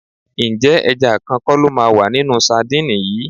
Ǹjẹ́ ẹja kan kọ́ lo máa wà nínú sadíìnì yìí?